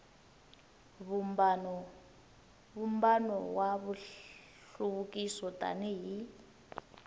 vumbano wa nhluvukiso tani hi